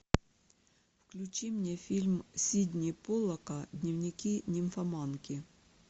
включи мне фильм сидни поллака дневники нимфоманки